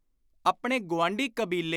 ਆਪਣੇ ਗੁਆਂਢੀ ਕਬੀਲੇ